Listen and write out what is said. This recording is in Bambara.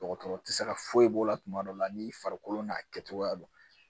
Dɔgɔtɔrɔ tɛ se ka foyi b'o la tuma dɔ la n'i farikolo n'a kɛcogoya don